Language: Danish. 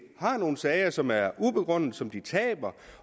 har nogle sager som er ubegrundede og som de taber